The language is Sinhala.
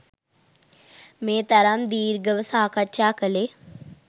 මේ තරම් දීර්ඝව සාකච්ඡා කළේ